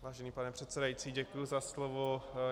Vážený pane předsedající, děkuji za slovo.